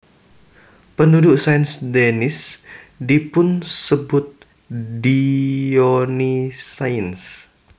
Penduduk Saint Denis dipunsebut Dionysiens